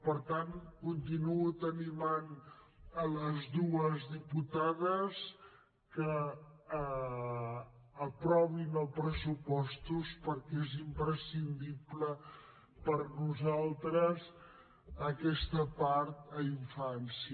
per tant continuo animant les dues diputades que aprovin els pressupostos perquè és imprescindible per nosaltres aquesta part a infància